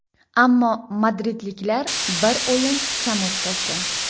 Ammo madridliklar bir o‘yin kam o‘tkazgan.